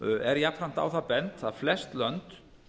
er jafnframt á það bent að flest lönd